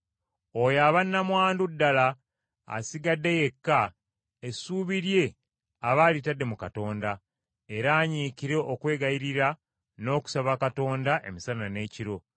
Oyo aba nnamwandu ddala, asigadde yekka, essuubi lye aba alitadde mu Katonda, era anyiikire okwegayirira n’okusaba Katonda emisana n’ekiro.